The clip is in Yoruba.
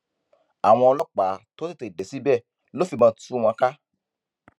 àwọn ọlọpàá tó tètè dé síbẹ ló fìbọn tú wọn ká